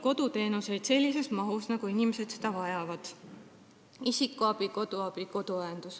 Koduteenuseid ei ole sellises mahus, nagu inimesed vajavad .